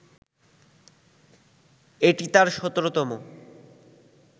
এটি তার ১৭তম